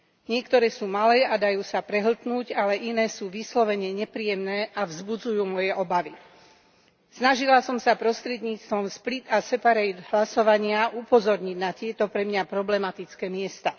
Niektoré sú malé a dajú sa prehltnúť, ale iné sú vyslovene nepríjemné a vzbudzujú moje obavy. Snažila som sa prostredníctvom split a separate hlasovania upozorniť na tieto pre mňa problematické miesta.